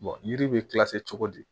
yiri bɛ cogo di